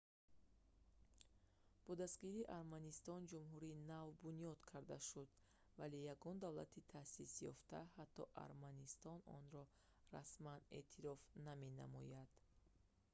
бо дастгирии арманистон ҷумҳурии нав бунёд карда шуд вале ягон давлати таъсисёфта ҳатто арманистон онро расман эътироф наменамояд